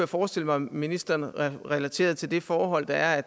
forestille mig at ministeren relaterede til det forhold der er